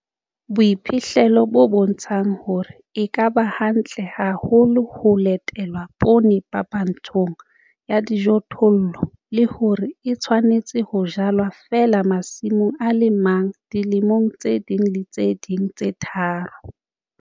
Boiphihlelo bo bontsha hore e ka ba hantle haholo ha ho latelwa poone phapantshong ya dijothollo, le hore e tshwanetse ho jalwa feela masimong a le mang dilemoong tse ding le tse ding tse tharo.